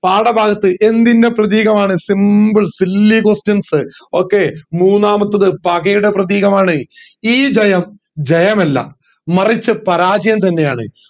പാഠഭാഗത്ത് എന്തിൻറെ പ്രതീകമാണ് simple silly questions okay മൂന്നാമത്തത് പകയുടെ പ്രതീകമാണ് ഈ ജയം ജയമല്ല മറിച്ച് പരാജയം തന്നെയാണ്